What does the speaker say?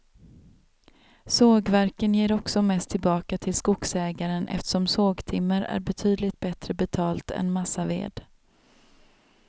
Sågverken ger också mest tillbaka till skogsägaren eftersom sågtimmer är betydligt bättre betalt än massaved.